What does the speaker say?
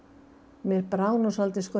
mér brá nú svolítið